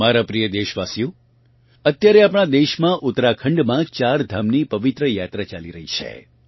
મારા પ્રિય દેશવાસીઓ અત્યારે આપણાં દેશમાં ઉત્તરાખંડમાં ચારધામની પવિત્ર યાત્રા ચાલી રહી છે